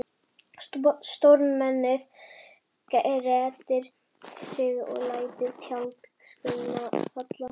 Stórmennið grettir sig og lætur tjaldskörina falla.